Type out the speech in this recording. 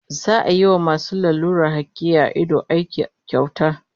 Za'a yi wa masu lalurar hakiya a ido aiki kyauta